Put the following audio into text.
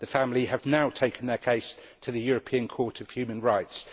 The family have now taken their case to the European Court of Human Rights.